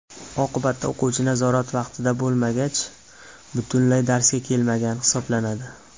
Oqibatda, o‘quvchi nazorat vaqtida bo‘lmagach, butunlay darsga kelmagan hisoblanadi.